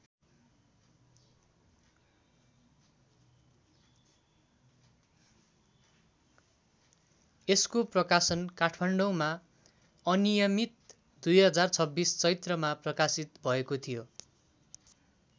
यसको प्रकाशन काठमाडौँमा अनियमित २०२६ चैत्रमा प्रकाशित भएको थियो।